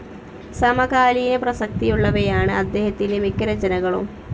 സമകാലീന പ്രസക്തിയുള്ളവയാണ് അദ്ദേഹത്തിൻ്റെ മിക്ക രചനകളും.